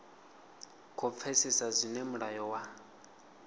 khou pfesesa zwine mulayo wa